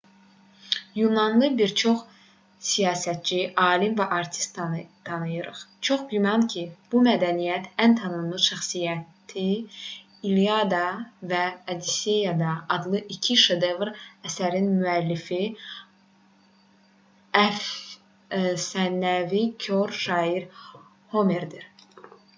yunanlı bir çox siyasətçi alim və artist tanıyırıq. çox güman ki bu mədəniyyətin ən tanınmış şəxsiyyəti i̇lliada və odisseya adlı iki şedevr əsərin müəllifi əfsanəvi kor şair homerdir